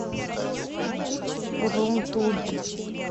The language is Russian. рум тур